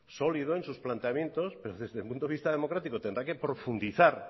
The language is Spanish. sólido en sus planteamientos pero desde el punto de vista democrático tendrá que profundizar